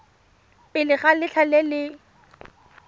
pele ga letlha le le